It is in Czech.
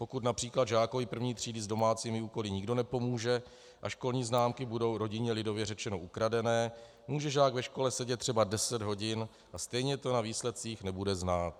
Pokud například žákovi první třídy s domácími úkoly nikdo nepomůže a školní známky budou rodině lidově řečeno ukradené, může žák ve škole sedět třeba deset hodin a stejně to na výsledcích nebude znát.